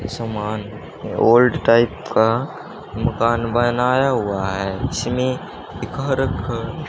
ये सामान old type का मकान बनाया हुआ है जिसमें एक हर क--